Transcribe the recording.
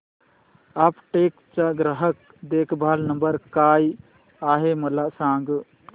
Aptech चा ग्राहक देखभाल नंबर काय आहे मला सांग